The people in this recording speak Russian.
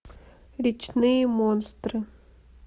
речные монстры